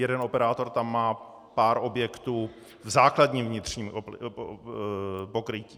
Jeden operátor tam má pár objektů v základním vnitřním pokrytí.